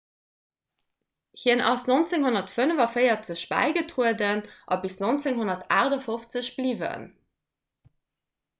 hien ass 1945 bäigetrueden a bis 1958 bliwwen